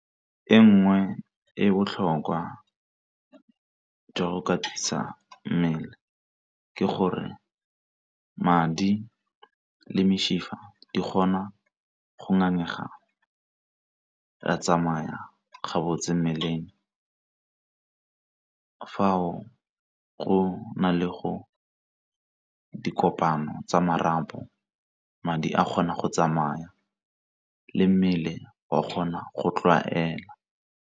E nngwe e botlhokwa, jwa go katisa mmele, ke gore madi le mesifa di kgona go ngangega ra tsamaya ga botse mmeleng. Fa o go na le go dikopano tsa marapo madi a kgona go tsamaya le mmele wa kgona go tlwaela.